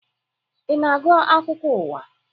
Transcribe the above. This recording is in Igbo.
Ị na-agụ akụkọ ụwa?